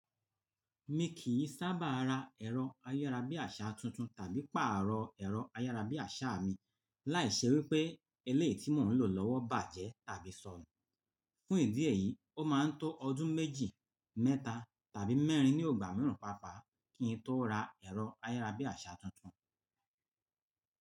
Mi kì í sábà ra ẹ̀rọ ayárabíàṣá tuntun tàbí pàrọ̀ ẹ̀rọ ayárabíàṣá mi láì ṣe wípé eléyìí tí mò ń lò lọ́wọ́ bàjẹ́ tàbí sọnù. Fún ìdí èyí, ó máa ń tó ọdún méjì, mẹ́ta tàbí mẹ́rin ní ọgbà mìíràn pàápàá kí n tó ra ẹ̀rọ ayárabíàṣá tuntun.